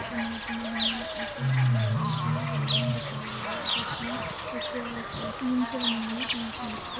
इस इमेज में हमे एक न् बड़ी सी बिल्डिंग दिखाई गयी है जोकि एक अ टिन से बनी हुई है। टी शट से --